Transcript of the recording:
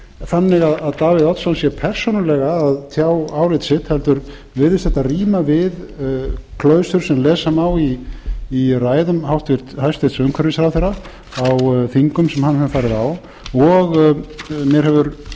þannig að davíð oddsson sé persónulega að tjá álit sitt heldur virðist þetta ríma við klausur sem lesa má í ræðum hæstvirtur umhverfisráðherra á þingum sem hann hefur farið á og mér hefur